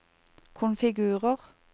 konfigurer